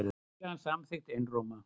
Var tillagan samþykkt einróma.